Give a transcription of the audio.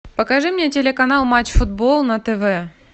покажи мне телеканал матч футбол на тв